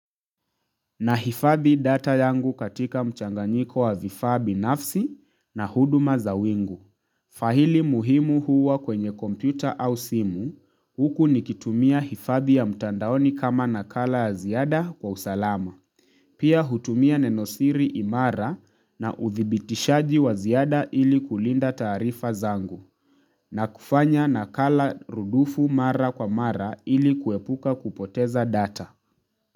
Na hifadhi data yangu katika mchanganyiko wa vifaabi nafsi na huduma za wingu. Faahili muhimu huwa kwenye kompyuta au simu, huku nikitumia hifadhi ya mtandaoni kama nakala ya ziada kwa usalama. Pia hutumia nenosiri imara na udhibitishaji wa ziada ili kulinda taarifa zangu. Na kufanya nakala rudufu mara kwa mara ili kuepuka kupoteza data.